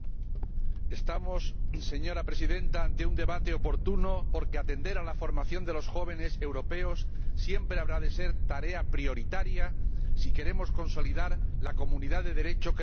Señora Presidenta, estamos ante un debate oportuno porque atender a la formación de los jóvenes europeos siempre habrá de ser tarea prioritaria si queremos consolidar la comunidad de Derecho que representa la Unión Europea.